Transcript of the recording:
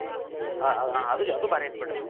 ಹ್ಮ್ ಅದು ಅದು ಭಾರಿ ಐತಿ ಬಿಡ್ರಿ.